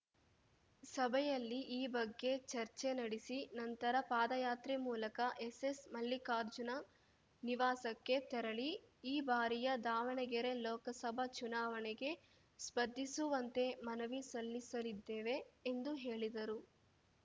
ಸಭೆಯಲ್ಲಿ ಈ ಬಗ್ಗೆ ಚರ್ಚೆ ನಡೆಸಿ ನಂತರ ಪಾದಯಾತ್ರೆ ಮೂಲಕ ಎಸ್ಸೆಸ್‌ ಮಲ್ಲಿಕಾರ್ಜುನ ನಿವಾಸಕ್ಕೆ ತೆರಳಿ ಈ ಬಾರಿಯ ದಾವಣಗೆರೆ ಲೋಕಸಭಾ ಚುನಾವಣೆಗೆ ಸ್ಪರ್ಧಿಸುವಂತೆ ಮನವಿ ಸಲ್ಲಿಸಲಿದ್ದೇವೆ ಎಂದು ಹೇಳಿದರು